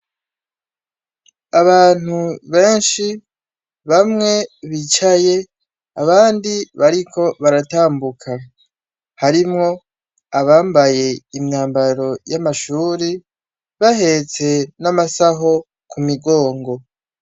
Abantu benshi bamwe bicaye abandi bariko baratambuka harimwo abambaye imyambaro y'amashuri bahetse n'amasaho ku migongo.